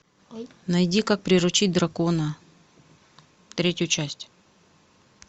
найди как приручить дракона третью часть